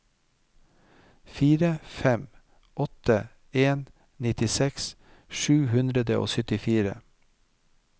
fire fem åtte en nittiseks sju hundre og syttifire